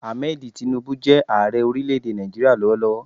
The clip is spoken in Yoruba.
Ahmed Tinubu jẹ́ Ààrẹ orílẹ̀ èdè Nàìjíríà lọ́wọ́lọ́wọ́